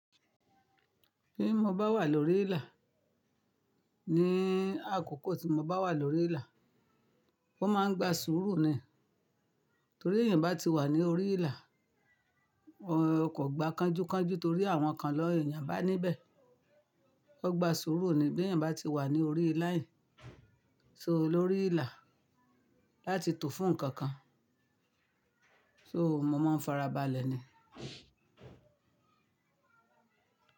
Bí mo bá wà lórí ìlà, ní àkókò tí mo bá wà lórí ìlà, wón máa ń gba sùúrù ni. Torí èyàn bá ti wà ní orí ìlà, o kò gba kánjúkánjú torí àwọn kan le eèyàn bá níbẹ̀. O gba sùúrù ni bí eèyàn bá ti wà ní orí line, so lórí ìlà láti tò fún nǹkan kan. So mo máa ń farabalẹ̀ ni.